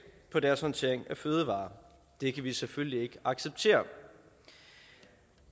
på deres håndtering af fødevarer det kan vi selvfølgelig ikke acceptere